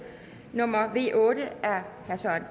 nummer v otte